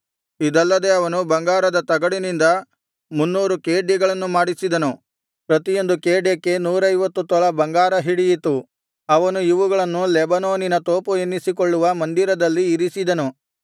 ಇದಲ್ಲದೆ ಅವನು ಬಂಗಾರದ ತಗಡಿನಿಂದ ಮುನ್ನೂರು ಖೇಡ್ಯಗಳನ್ನು ಮಾಡಿಸಿದನು ಪ್ರತಿಯೊಂದು ಖೇಡ್ಯಕ್ಕೆ ನೂರೈವತ್ತು ತೊಲಾ ಬಂಗಾರ ಹಿಡಿಯಿತು ಅವನು ಇವುಗಳನ್ನು ಲೆಬನೋನಿನ ತೋಪು ಎನ್ನಿಸಿಕೊಳ್ಳುವ ಮಂದಿರದಲ್ಲಿ ಇರಿಸಿದನು